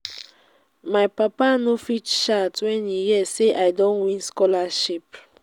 my papa no fit shout wen e hear sey i don win scholarship.